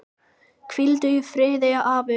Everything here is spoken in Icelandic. Hvíldu í friði afi.